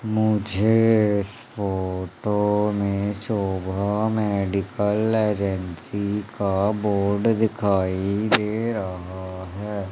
मुझे इस फोटो में शोभा मेडिकल एजेंसी का बोर्ड दिखाई दे रहा है।